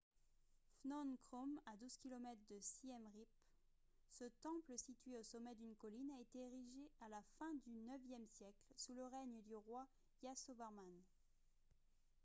phnom krom à 12 km de siem reap ce temple situé au sommet d'une colline a été érigé à la fin du ixe siècle sous le règne du roi yasovarman